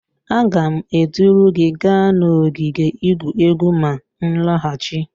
Aga m eduru gi gaa n'ogige igwu egwu ma m nlaghachi